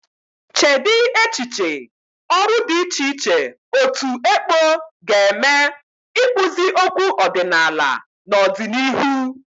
Cheedị echiche ọrụ dị iche iche otu ekpo ga eme ikpụzi okwu ọdịnala n'ọdịnihu.